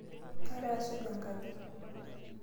Kaira aisuj enkaji.